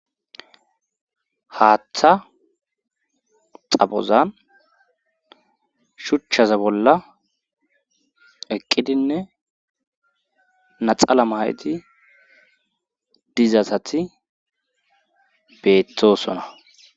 haaththa xabozan shuchchaza bolla eqqidinne naxala mayti dizasati beetosona